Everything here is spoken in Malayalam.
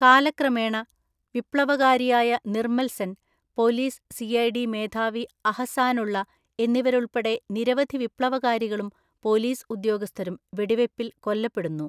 കാലക്രമേണ, വിപ്ലവകാരിയായ നിർമ്മൽ സെൻ, പോലീസ് സിഐഡി മേധാവി അഹസാനുള്ള എന്നിവരുൾപ്പെടെ നിരവധി വിപ്ലവകാരികളും പോലീസ് ഉദ്യോഗസ്ഥരും വെടിവയ്പ്പിൽ കൊല്ലപ്പെടുന്നു.